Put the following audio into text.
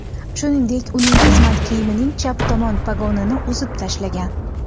Shuningdek, uning xizmat kiyimining chap tomon pogonini uzib tashlagan.